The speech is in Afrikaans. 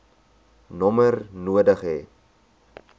nommer nodig hê